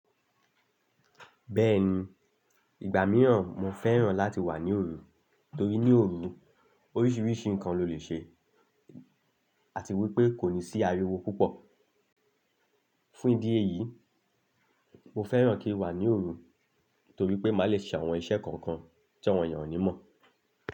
Bẹ́ẹ̀ni, ìgbà mìíràn mo fẹ́ràn láti wà ní òru, torí ní òru oríṣiríṣi nǹkan lo lè ṣe àti wípé kò ní sí ariwo púpọ̀. Fún ìdí èyí, mo fẹ́ràn kí n wà ní òru torí pé má lè ṣe àwọn iṣẹ́ kọ̀ọ̀kan tí àwọn èèyàn ò ní mọ̀